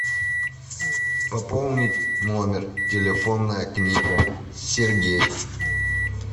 пополнить номер телефонная книга сергей